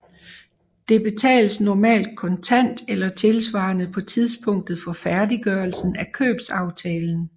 Det betales normalt kontant eller tilsvarende på tidspunktet for færdiggørelsen af købsaftalen